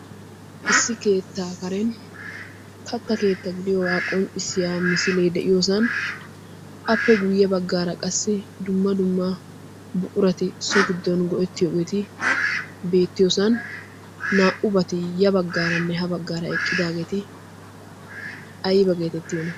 issi keettaa karen katta keetta gidiyoogaa qonccissiya misiilee de7iyoosan appe guyye baggaara qassi dumma dumma buqurati so giddon go7ettiyoogeeti beettiyoosan naa77ubati ya baggaaranne ha baggaara eqqidaageeti aiba geetettioona?